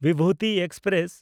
Bibhuti express